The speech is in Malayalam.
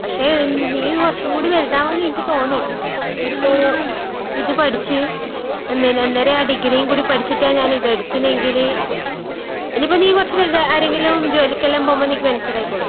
പക്ഷെ ന്ന് നീ കൊറച്ചും കൂടി വലുതാവുമ്പ നിനക്ക് തോന്നും ഇപ്പൊ ഇത് പഠിച്ച് അന്നേരാ ഡിഗ്രീം കൂടെ പഠിച്ചിട്ടാ ഞാനിതെടുത്തിനേങ്കില്, ഇനീപ്പൊ നീ കൊറച്ച് വലുതായി ആരെങ്കിലും ജോലിക്കെല്ലാം പോവുമ്പ നിക്ക് മനസ്സിലായിക്കോളും.